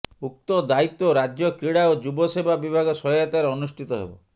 ଉକ୍ତ ଦାୟିତ୍ୱ ରାଜ୍ୟ କ୍ରୀଡ଼ା ଓ ଯୁବ ସେବା ବିଭାଗ ସହାୟତାରେ ଅନୁଷ୍ଠିତ ହେବ